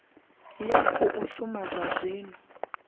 ya khou shuma zwa zwino